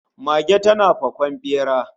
Mage tana fakon bera